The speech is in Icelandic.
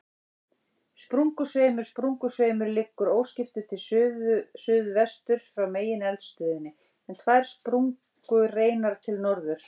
Sprungusveimur Sprungusveimur liggur óskiptur til suðsuðvesturs frá megineldstöðinni, en tvær sprungureinar til norðurs.